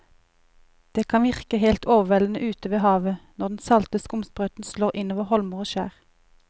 Det kan virke helt overveldende ute ved havet når den salte skumsprøyten slår innover holmer og skjær.